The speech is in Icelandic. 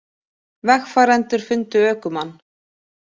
Vegfarendur fundu ökumann